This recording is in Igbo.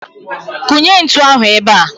Kụnye ntụ ahụ ebea!